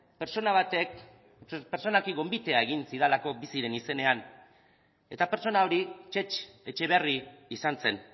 pertsona batek pertsonalki gonbitea egin zidalako biziren izenean eta pertsona hori txetx etxeberri izan zen